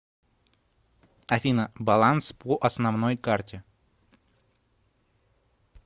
афина баланс по основной карте